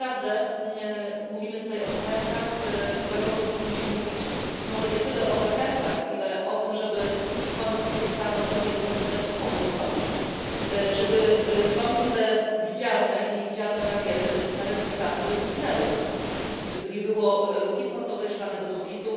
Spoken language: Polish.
Tak naprawdę mówimy tutaj o zachętach dla kobiet, powinniśmy mówić może nie tyle o zachętach, ile o tym, żeby w końcu przestano kobietom rzucać kłody pod nogi, żeby w końcu te widzialne i niewidzialne bariery na rynku pracy zniknęły, żeby nie było luki płacowej, szklanego sufitu,